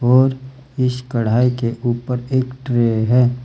और इश कढ़ाई के ऊपर ट्रे हैं।